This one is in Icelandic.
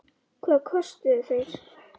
Hvað kostuðu þeir?